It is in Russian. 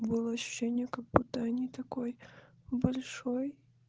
было ощущение как-будто не такой большой